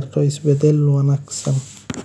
saamaynta barnaamijka mustaqbalka fog .